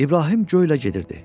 İbrahim göylə gedirdi.